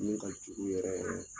Min kajugu yɛrɛ yɛrɛ.